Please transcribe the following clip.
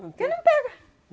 Porque não pega.